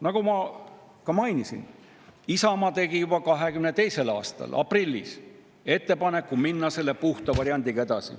Nagu ma ka mainisin, Isamaa tegi juba 2022. aastal aprillis ettepaneku minna edasi selle puhta variandiga.